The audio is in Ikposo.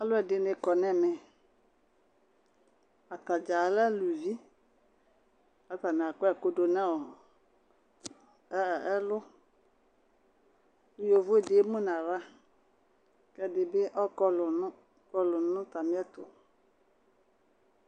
Ɔlu ɛɖɩ nɩ kɔ nɛmɛ Atadza alɛ aluvi, katanɩ akɔ ɛku ɖu nɔ ɛ ɛlu Ku yovo ɖɩ emu nu aɣla, ɛɖɩ bɩ ɔkɔlu nu ɔkɔlu nu atami ɛtu